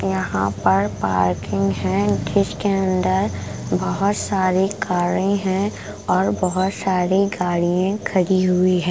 यहाँ पर पार्किंग है इसके अंदर बहुत सारी कारे हैं और बहुत सारी गाड़ियाँ खड़ी हुई है।